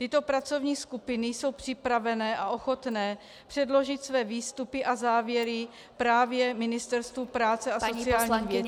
Tyto pracovní skupiny jsou připravené a ochotné předložit své výstupy a závěry právě Ministerstvu práce a sociálních věcí.